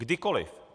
Kdykoliv.